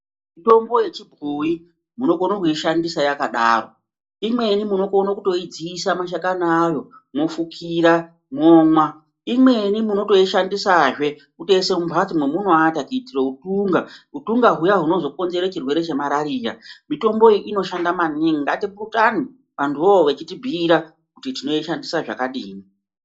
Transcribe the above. Mutombo yechibhoyi munokona kuishandisa yakadaro, imweni munokona kutoidziisa mashakani ayo mofukira momwa. Imweni munotoishandisa kuisa mumhatso memunoata kuitira utunga huya hunozokonzera chirwere chemarariya. Mutombo iyi inoshanda maningi ngatiputane vantuvowo veitibhuira kuti tinoishandisa zvakadini.